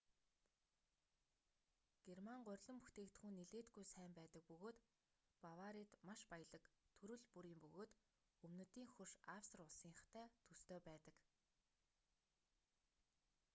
герман гурилан бүтээгдэхүүн нэлээдгүй сайн байдаг бөгөөд баварид маш баялаг төрөл бүрийн бөгөөд өмнөдийн хөрш австри улсынхтай төстэй байдаг